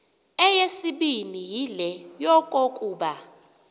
eyesibini yile yokokuba